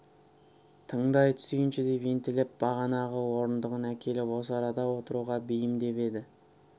тыңдай түсейінші деп ентелеп бағанағы орындығын әкеліп осы арада отыруға бейімдеп еді